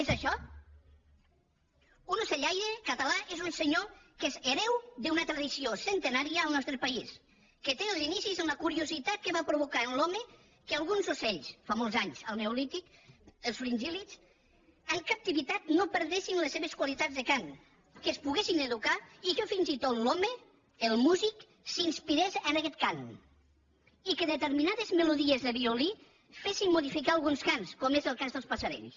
és això un ocellaire català és un senyor que és hereu d’una tradició centenària al nostre país que té els inicis en la curiositat que va provocar en l’home que alguns ocells fa molts anys al neolític els fringíltat no perdessin les seves qualitats de cant que es poguessin educar i que fins i tot l’home el músic s’inspirés en aguest cant i que determinades melodies de violí fessin modificar alguns cants com és el cas dels passerells